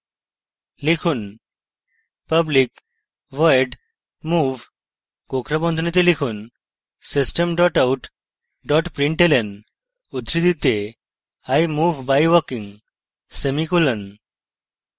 লিখুন: public void move কোঁকড়া বন্ধনীতে লিখুন system out println উদ্ধৃতিতে i move by walking semicolon